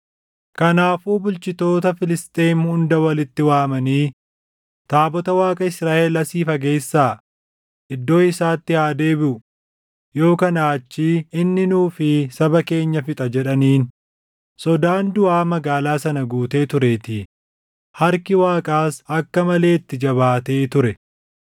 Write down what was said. Kanaafuu bulchitoota Filisxeem hunda walitti waamanii, “Taabota Waaqa Israaʼel asii fageessaa; iddoo isaatti haa deebiʼu; yoo kanaa achii inni nuu fi saba keenya fixa” jedhaniin. Sodaan duʼaa magaalaa sana guutee tureetii; harki Waaqaas akka malee itti jabaatee ture.